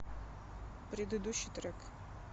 предыдущий трек